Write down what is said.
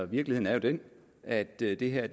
virkeligheden er jo den at det det her